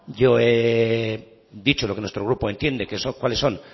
yo he dicho lo que nuestro grupo entiendo cuáles son